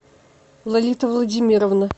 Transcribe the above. лолита владимировна